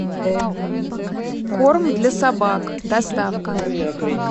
корм для собак доставка